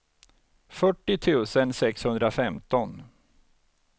fyrtio tusen sexhundrafemton